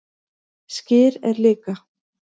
Skyr er líka